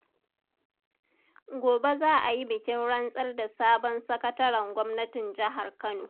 Gobe za a yi bikin rantsar da sabon sakataren Gwamnatin Jihar Kano.